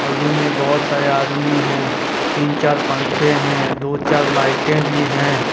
और रूम में बहुत सारे आदमी है तीन चार पंखे हैं दो चार लाइटें भी हैं।